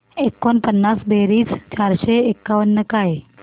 एकोणपन्नास बेरीज चारशे एकावन्न काय